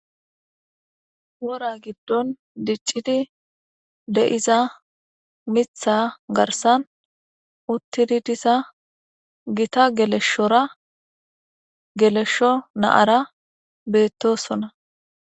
wora giddon diccidi de7iza mitha garsan uttidi disa gita geleshshora geleshsho naara beettosona